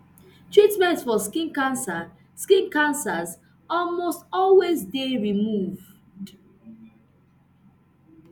treatment for skin cancer skin cancers almost always dey removed